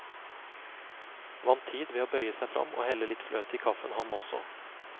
Vant tid ved å bøye seg fram og helle litt fløte i kaffen han også.